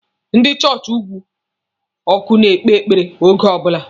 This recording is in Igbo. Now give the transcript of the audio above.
Ndị chọọchị ugwu ọkụ na-ekpe ekpere oge ọbụla.